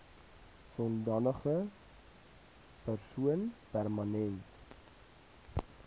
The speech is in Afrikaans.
sodanige persoon permanent